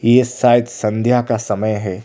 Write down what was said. ये शायद संध्या का समय है।